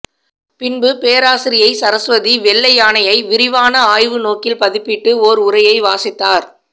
பின்பு பேராசிரியை சரஸ்வதி வெள்ளையானையை விரிவான ஆய்வுநோக்கில் மதிப்பிட்டு ஓர் உரையை வாசித்தார்